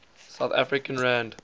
south african rand